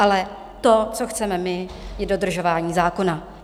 Ale to, co chceme my, je dodržování zákona.